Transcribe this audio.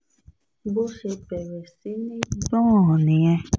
bó ṣe bẹ̀rẹ̀ sí í gbọ́n nìyẹn